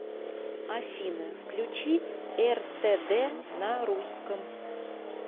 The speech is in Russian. афина включи эр тэ дэ на русском